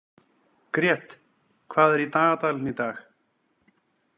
Grét, hvað er í dagatalinu í dag?